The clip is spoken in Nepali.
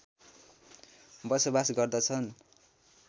बसोवास गर्दछन्